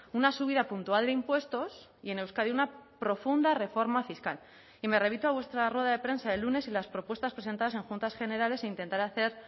una subida puntual de impuestos y en euskadi una profunda reforma fiscal y me remito a vuestra rueda de prensa del lunes y las propuestas presentadas en juntas generales e intentar hacer